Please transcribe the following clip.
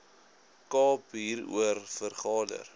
kaap hieroor vergader